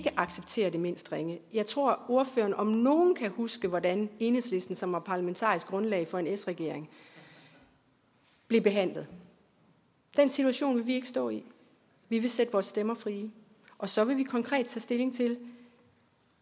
acceptere det mindst ringe jeg tror at ordføreren om nogen kan huske hvordan enhedslisten som var parlamentarisk grundlag for en s regering blev behandlet den situation vil vi ikke stå i vi vil sætte vores stemmer fri og så vil vi konkret tage stilling til